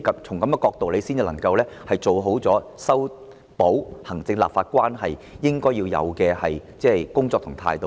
從這樣的角度出發，才是做好修補行政立法關係的工作所應有的態度。